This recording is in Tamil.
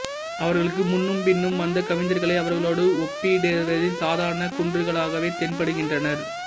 அவர்களுக்கு முன்னும் பின்னும் வந்த கவிஞர்களை அவர்களோடு ஒப்பிடின் சாதாரணக் குன்றுகளாகவே தென்படுகின்றனர்